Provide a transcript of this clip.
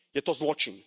Je to zločin.